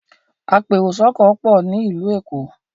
apẹ èrò sóko pọ ní ilu ẹkọ